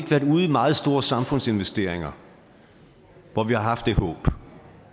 meget store samfundsinvesteringer hvor vi har haft det håb